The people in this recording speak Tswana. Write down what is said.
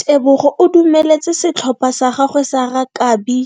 Tebogo o dumeletse setlhopha sa gagwe sa rakabi